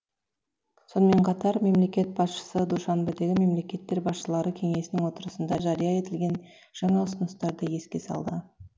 сонымен қатар мемлекет басшысы душанбедегі мемлекеттер басшылары кеңесінің отырысында жария етілген жаңа ұсыныстарды еске салды